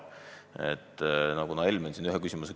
Helmen küsis enne ühe küsimuse.